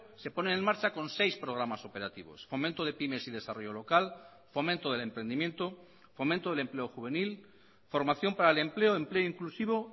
se pone en marcha con seis programas operativos fomento de pymes y desarrollo local fomento del emprendimiento fomento del empleo juvenil formación para el empleo empleo inclusivo